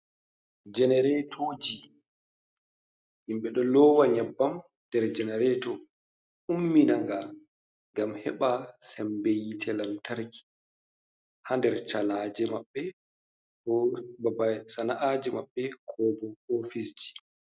Janeretoji, himɓe ɗo lowa nyabbam nder janareto umminaga ngam heɓa sembeyite lantarki ha nder calaje maɓɓe, ko babal sana'aji maɓɓe, kobo ofisji.